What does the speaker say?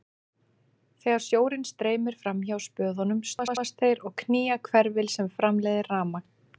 Þegar sjórinn streymir fram hjá spöðunum snúast þeir og knýja hverfil sem framleiðir rafmagn.